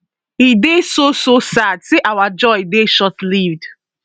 e dey so so sad say our joy dey shortlived